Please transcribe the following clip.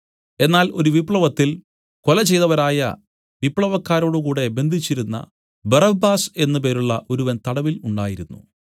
എന്നാൽ ഒരു വിപ്ലവത്തിൽ കൊല ചെയ്തവരായ വിപ്ലവക്കാരോടുകൂടെ ബന്ധിച്ചിരുന്ന ബറബ്ബാസ് എന്നു പേരുള്ള ഒരുവൻ തടവിൽ ഉണ്ടായിരുന്നു